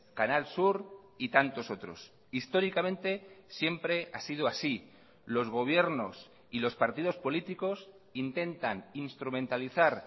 canal sur y tantos otros históricamente siempre ha sido así los gobiernos y los partidos políticos intentan instrumentalizar